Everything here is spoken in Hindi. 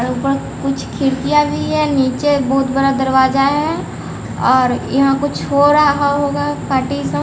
ऊपर कुछ खिड़कियां भी है नीचे बहुत बड़ा दरवाजा है और यहां कुछ हो रहा होगा पार्टी का--